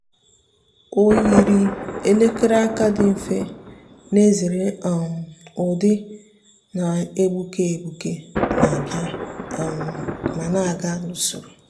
ọ́ yììrì èlèkére aka dị mfe nà-èzèrè um ụ́dị́ nà-égbùké égbùké nà-àbị̀à um ma nà-ágá n’usoro.